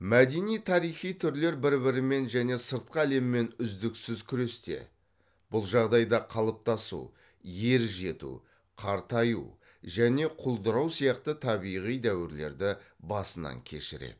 мәдени тарихи түрлер бір бірімен және сыртқы әлеммен үздіксіз күресте бұл жағдайда қалыптасу ер жету қартаю және құлдырау сияқты табиғи дәуірлерді басынан кешіреді